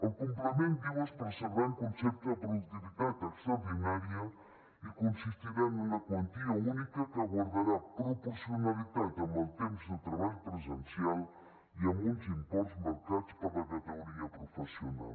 el complement diu es percebrà en concepte de productivitat extraordinària i consistirà en una quantia única que guardarà proporcionalitat amb el temps de treball presencial i amb uns imports marcats per la categoria professional